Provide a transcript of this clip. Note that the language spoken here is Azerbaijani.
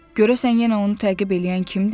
Görəsən yenə onu təqib eləyən kimdir?